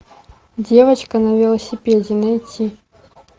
девочка на велосипеде найти